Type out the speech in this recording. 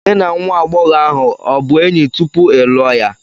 Gị na nwa agbọghọ ahụ ọ bụ enyi tupu ị lụọ ya?